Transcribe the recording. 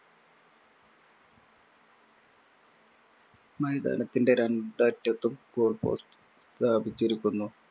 മൈതാനത്തിന്‍റെ രണ്ടറ്റത്തും goal post സ്ഥാപിച്ചിരിക്കുന്നു.